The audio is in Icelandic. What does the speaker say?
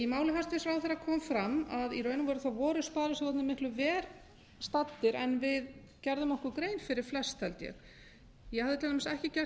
í máli hæstvirts ráðherra kom fram að í raun og veru voru sparisjóðirnir miklu verr staddir en við gerðum okkur grein fyrir flest held ég ég hafði til dæmis ekki gert